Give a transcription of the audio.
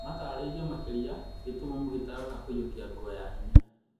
Matarĩrio makĩria gĩtumumu gĩtarona kũiyukia nguo ya hinya